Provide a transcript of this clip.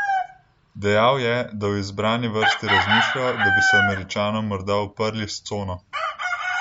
Dejal je, da v izbrani vrsti razmišljajo, da bi se Američanom morda uprli s cono.